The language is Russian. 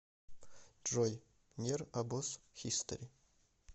джой нер обоз хистори